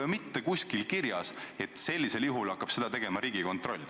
Pole mitte kuskil kirjas, et sellisel juhul hakkab seda tegema Riigikontroll.